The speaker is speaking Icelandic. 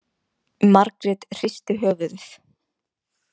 Margrét hristi höfuðið.